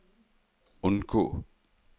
undgå